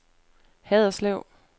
Haderslev